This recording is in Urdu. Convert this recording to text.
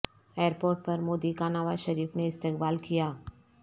ائیر پورٹ پر مودی کا نواز شریف نے استقبال کیا